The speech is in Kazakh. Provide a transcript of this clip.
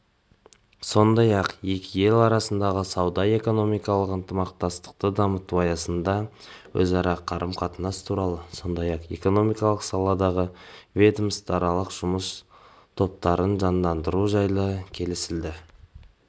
сондай-ақ екі ел арасындағы сауда-экономикалық ынтымақтастықты дамыту аясында өзара қарым-қатынас туралы сондай-ақ экономикалық саладағы ведомствоаралық жұмыс топтарын жандандыру жайлы келісілді